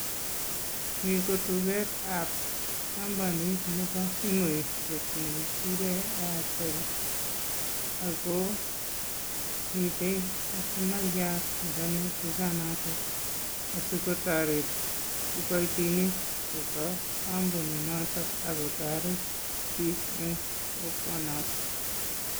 Mito duketab kampanit nebo simoisiek ne kikuren Airtel, ako miten kastomaiyat ne kanye dukanoton asikotoret kiboitinik chebo kampuni noto ako toret biik eng kokwonoto.